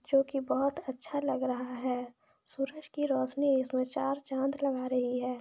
जो की बहुत अच्छा लग रहा है सूरज की रौशनी इसमें चार चाँद लगा रही है।